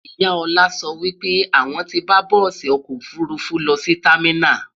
ìyá Ola sọ wípé àwon tí bá bùsi ọkọ òfurufú lọsí terminals